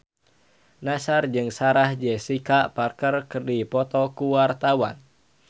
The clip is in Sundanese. Nassar jeung Sarah Jessica Parker keur dipoto ku wartawan